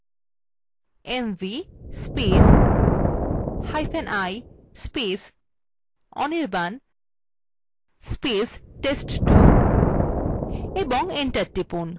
লিখুন mvi anirban test2 এবং enter টিপুন